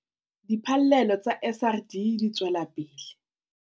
Diphallelo tsa SRD di tswela pele